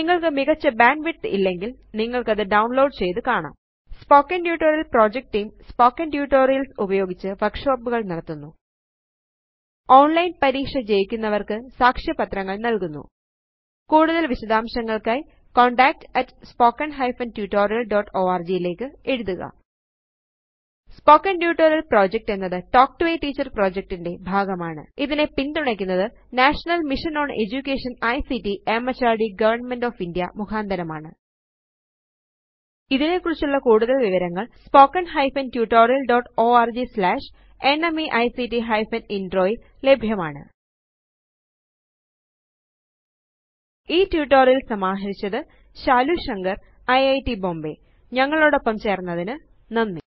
നിങ്ങള്ക്ക് മികച്ച ബാൻഡ്വിഡ്ത്ത് ഇല്ലെങ്കില് നിങ്ങള്ക്കത് ഡൌണ്ലോഡ് ചെയ്ത് കാണാം spoken tutorial project team spoken tutorials ഉപയോഗിച്ച് വര്ക്ഷോപ്പുകള് നടത്തുന്നു ഓണ്ലൈന് പരീക്ഷ ജയിക്കുന്നവര്ക്ക് സാക്ഷ്യപത്രങ്ങള് നല്കുന്നു കൂടുതല് വിശദാംശങ്ങള്ക്കായി contactspoken tutorialorg ലേയ്ക്ക് എഴുതുക സ്പോക്കൻ ട്യൂട്ടോറിയൽ പ്രൊജക്ട് എന്നത് talk to a teacher project ന്റെ ഭാഗമാണ് ഇതിനെ പിന്തുണയ്ക്കുന്നത് national mission on education ICT MHRD government of India മുഖാന്തരമാണ് ഇതിനെക്കുറിച്ചുള്ള കൂടുതല് വിവരങ്ങള് spoken tutorialorgnmeict ഇൻട്രോ യില് ലഭ്യമാണ് ഈ ട്യൂട്ടോറിയൽ സമാഹരിച്ചത് ശാലു ശങ്കർ ഐറ്റ് ബോംബേ ഞങ്ങളോടൊപ്പം ചേർന്നതിന് നന്ദി